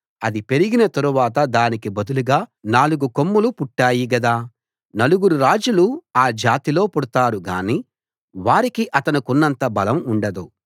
అది పెరిగిన తరువాత దానికి బదులుగా నాలుగు కొమ్ములు పుట్టాయి గదా నలుగురు రాజులు ఆ జాతిలో పుడతారు గాని వారికి అతనికున్నంత బలం ఉండదు